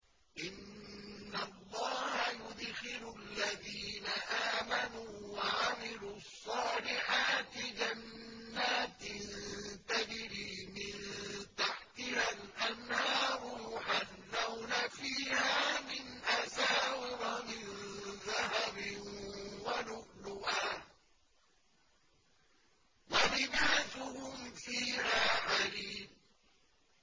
إِنَّ اللَّهَ يُدْخِلُ الَّذِينَ آمَنُوا وَعَمِلُوا الصَّالِحَاتِ جَنَّاتٍ تَجْرِي مِن تَحْتِهَا الْأَنْهَارُ يُحَلَّوْنَ فِيهَا مِنْ أَسَاوِرَ مِن ذَهَبٍ وَلُؤْلُؤًا ۖ وَلِبَاسُهُمْ فِيهَا حَرِيرٌ